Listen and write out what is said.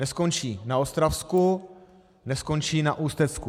Neskončí na Ostravsku, neskončí na Ústecku.